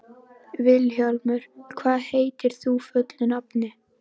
Vilhjálmur, hvað heitir þú fullu nafni?